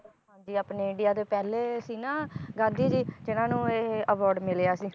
ਹਾਂਜੀ ਆਪਣੇ ਇੰਡੀਆ ਦੇ ਪਹਿਲੇ ਸੀ ਨਾ ਗਾਂਧੀ ਜੀ ਤੇ ਇਹਨਾਂ ਨੂੰ ਇਹ award ਮਿਲਿਆ ਸੀ